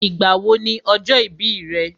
Ìgbà wo ni ọjọ́ ìbí rẹ̀?